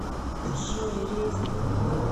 джой резников